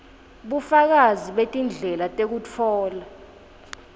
bufakazi betindlela tekutfola